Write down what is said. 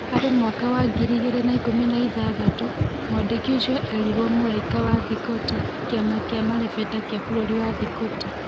Harĩ mwaka wa ngirĩ igĩrĩ na ikũmi na ithathatũ, mwandĩki ũcio erirwo Mũraika wa Thikoti - Kĩama kĩa marebeta kĩa bũrũri wa Thikoti.